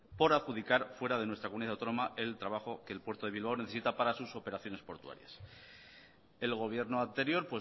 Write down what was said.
por adjudicar fuera de nuestra comunidad autónoma el trabajo que el puerto de bilbao necesita para sus operaciones portuarias el gobierno anterior